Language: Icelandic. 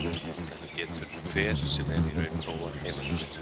Þetta getur hver sem er í raun prófað heima hjá sér.